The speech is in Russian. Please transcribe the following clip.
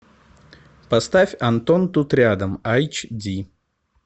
поставь антон тут рядом эйч ди